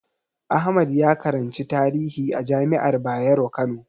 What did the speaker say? Ahmad ya karanci tarihi a jami'ar Bayero Kano.